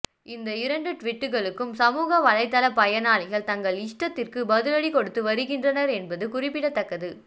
இந்த இரண்டு டுவீட்டுக்களுக்கும் சமூக வலைத்தள பயனாளிகள் தங்கள் இஷ்டத்திற்கு பதிலடி கொடுத்து வருகின்றனர் என்பது குறிப்பிடத்தக்கது